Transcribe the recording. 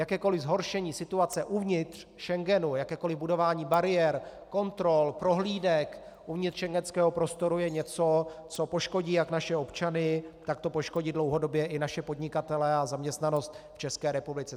Jakékoliv zhoršení situace uvnitř Schengenu, jakékoli budování bariér, kontrol, prohlídek uvnitř schengenského prostoru je něco, co poškodí jak naše občany, tak to poškodí dlouhodobě i naše podnikatele a zaměstnanost v České republice.